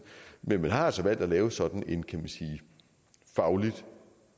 men man har altså valgt at lave sådan en kan man sige faglig